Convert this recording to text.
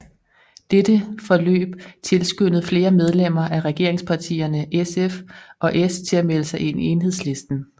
Dette forløb tilskyndede flere medlemmer af regeringspartierne SF og S til at melde sig ind i Enhedslisten